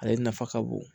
Ale nafa ka bon